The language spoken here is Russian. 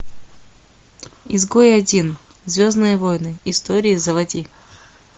изгой один звездные войны история заводи